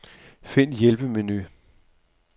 Find hjælpemenu.